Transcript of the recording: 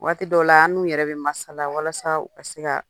Waati dɔw la, an n'u yɛrɛ bɛ masala walasa u ka se ka